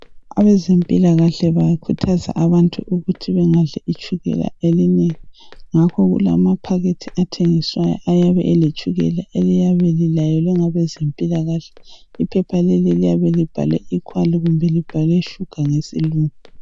Abezempilakahle bakhuthaza abantu ukuthi bengadli itshukela elinengi. Ngakho kulamaphakethi athengiswayo ayabe eletshukela eliyabe lilayelwe ngabezempilakahle. Iphepha leli liyabe libhalwe equal kumbe libhalwe sugar ngesilungu.